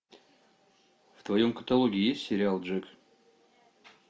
в твоем каталоге есть сериал джек